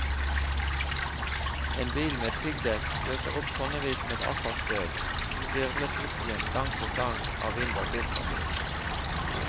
En bil med piggdekk løser opp tonnevis med asfaltstøv, som hvirvles opp igjen gang på gang av vind og biltrafikk.